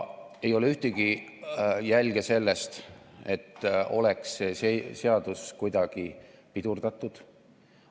Ei ole ühtegi jälge sellest, et oleks seda seadust kuidagi pidurdatud.